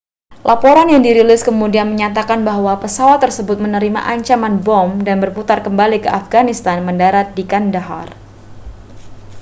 laporan yang dirilis kemudian menyatakan bahwa pesawat tersebut menerima ancaman bom dan berputar kembali ke afghanistan mendarat di kandahar